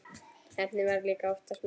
Heppnin var líka oftast með.